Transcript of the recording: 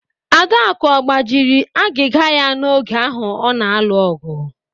Adaku ọ gbajiri agịga ya n'ogụ ahụ ọ na-alụ?